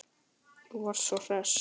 Þú varst svo hress.